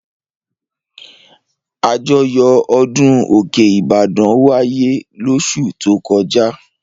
Àjọyọ̀ ọdún òkè Ìbàdàn wáyé lóṣù tó kọjá.